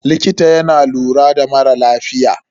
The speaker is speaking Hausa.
Likita yana lura da mara lafiya.